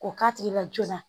K'o k'a tigi la joona